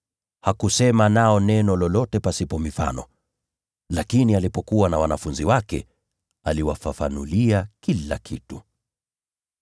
Hakusema nao neno lolote pasipo mfano. Lakini alipokuwa na wanafunzi wake, aliwafafanulia kila kitu.